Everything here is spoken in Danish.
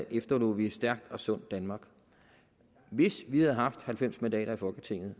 efterlod vi et stærkt og sundt danmark hvis vi havde haft halvfems mandater i folketinget